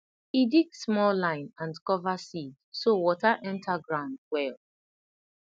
e dig small line and cover seed so water enter ground well